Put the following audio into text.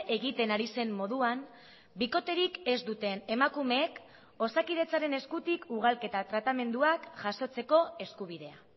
egiten ari zen moduan bikoterik ez duten emakumeek osakidetzaren eskutik ugalketa tratamenduak jasotzeko eskubidea